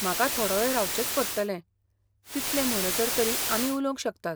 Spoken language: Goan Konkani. म्हाका थोडो वेळ रावचेंच पडटलें, तितले म्हणसर तरी आमी उलोवंक शकतात.